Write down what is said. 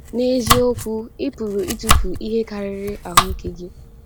N’eziokwu, ị pụrụ ịtụfu ihe karịrị ahụ ike gị.